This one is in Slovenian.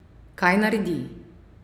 Kaj naredi?